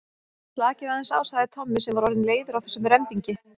Slakið aðeins á sagði Tommi sem var orðinn leiður á þessum rembingi.